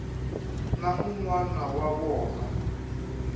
na un wana wa vona